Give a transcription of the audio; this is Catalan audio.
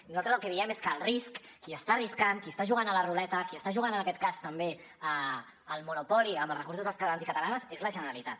i nosaltres el que diem és que el risc qui està arriscant qui està jugant a la ruleta qui està jugant en aquest cas també al monopoly amb els recursos dels catalans i catalanes és la generalitat